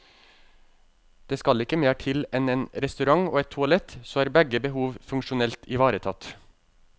Det skal ikke mer til enn en restaurant og et toalett, så er begge behov funksjonelt ivaretatt.